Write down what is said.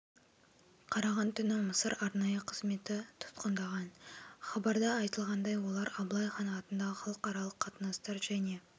қараған түні мысыр арнайы қызметі тұтқындаған хабарда айтылғандай олар аблай хан ат халықаралық қатынастар және